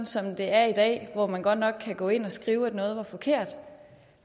som det er i dag hvor man godt nok kan gå ind og skrive at noget er forkert